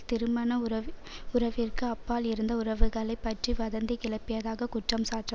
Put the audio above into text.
திருமண உறவிற்கு அப்பால் இருந்த உறவுகளை பற்றி வதந்தி கிளப்பியதாக குற்றம் சாட்ரம்